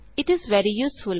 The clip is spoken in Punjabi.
it is very USEFUL